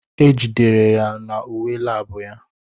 E jidere ya na uwe lab ya.